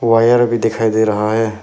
Wire भी दिखाई दे रहा है।